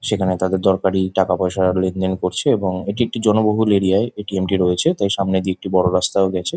সেখান এ তাদের দরকারি টাকাপয়সা লেন দেন করছে এবং এটি একটি জনবহুল এরিয়া য় এ.টি.এম. -টি রয়েছে ।তাই সামনে দিকে একটি বড়ো রাস্তা ও গেছে ।